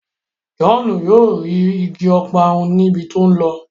John yóò rí ìgi Ọparun ní ibí tí o nlọ.